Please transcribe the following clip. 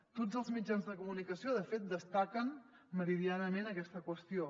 tots els mitjans de comunicació de fet destaquen meridianament aquesta qüestió